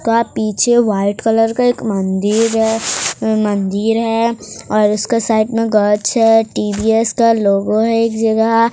का पीछे white colour का एक मंदिर है मंदिर है और उसका साइड में गछ है टी_वी_एस स्टाल लोगो है एक जगह--